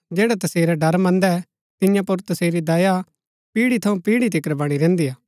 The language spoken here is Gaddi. जैड़ै तसेरा ड़र मन्दै तियां पुर तसेरी दया पीढ़ी थऊँ पीढ़ी तिकर वणी रैहन्‍दी हा